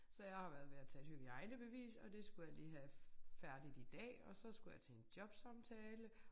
Så jeg har været ved at tage et hygiejnebevis og det skulle jeg lige have færdigt i dag og så skulle jeg til en jobsamtale